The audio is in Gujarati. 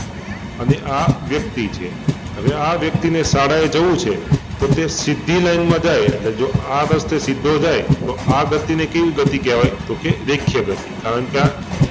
અને આ વ્યક્તિ છે હવે આ વ્યક્તિને શાળાએ જવુ છે તો તે સીધી લાઈન માં જાય એટલે કે આ રસ્તે સીધો જાય તો આ ગતિ ને કેવી ગતિ કેવાય? તો કે રેખીય ગતિ કારણકે આ